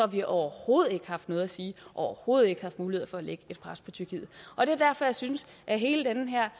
vi overhovedet ikke haft noget at sige og overhovedet ikke haft mulighed for at lægge pres på tyrkiet og det er derfor jeg synes at hele den her